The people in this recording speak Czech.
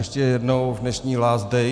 Ještě jednou v dnešním last day.